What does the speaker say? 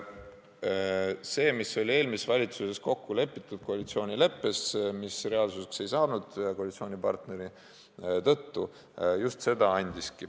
Eelmises valitsuses kokku lepitud koalitsioonileppes, mis ühe koalitsioonipartneri tõttu reaalsuseks ei saanudki, just see kirjas oli.